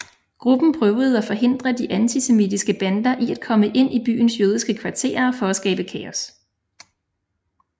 Gruppen prøvede at forhindre de antisemitiske bander i at komme ind i byens jødiske kvarterer for at skabe kaos